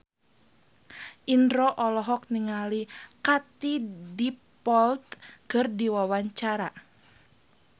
Indro olohok ningali Katie Dippold keur diwawancara